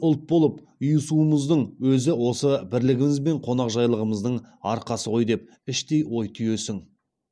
ұлт болып ұйысуымыздың өзі осы бірілігіміз бен қонақжайлылығымыздың арқасы ғой деп іштей ой түйесің